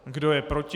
Kdo je proti?